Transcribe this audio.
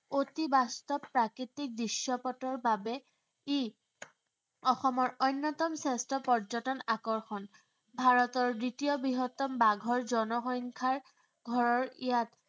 অতি বাস্তৱ প্ৰাকৃতিক দৃশ্য়পটৰ বাবে ই অসমৰ অন্যতম শ্ৰেষ্ঠ পৰ্যটন আকৰ্ষণ। ভাৰতৰ দ্বিতীয় বৃহত্তম বাঘৰ জনসংখ্য়াৰ ঘৰৰ ইয়াত